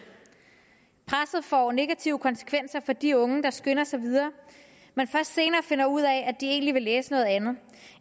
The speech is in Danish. presset får negative konsekvenser for de unge der skynder sig videre men først senere finder ud af at de egentlig vil læse noget andet